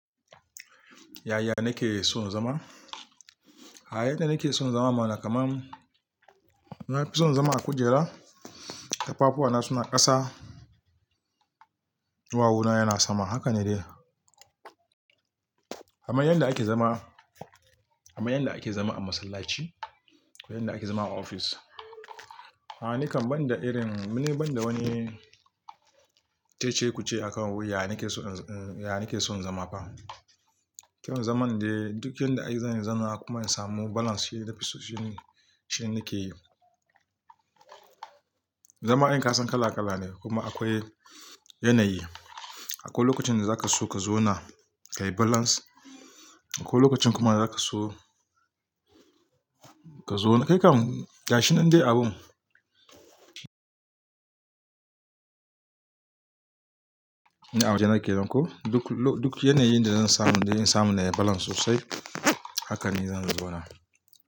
Yaya nake son zama? A yanda nake son zama ma'ana kamar ina fison zama a kujera, tafafuwana suna ƙasa, ɗuwawu na yana sama, haka ne dai. Aman yanda ake zama, aman yanda ake zama a masallaci ko yanda ake zama a ofis. A'a ni kan ban da irin, ni ban da wani cece-kuce akan wuya nake son, uh, uh, ya nake son zama ba. Zan zaman dai duk yanda ake zan zana kuma samu balance shine nafi so, shine, shine nake yi. Zama in kasan kala-kala ne kuma akwai yanayi. Akwai lokacin da zaka so ka zo na ka yi balance, akwai lokacin kuma zaka so ka zo na, kai kam gashi nan dai abun, ina a waje nake nan koh. Duk lo, duk yanayin da zan samu, da in samu na yi balance sosai haka ne zan zo na.